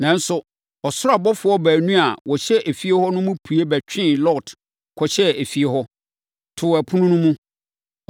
Nanso, ɔsoro abɔfoɔ baanu a wɔhyɛ efie hɔ no pue bɛtwee Lot kɔhyɛɛ efie hɔ, too ɛpono no mu.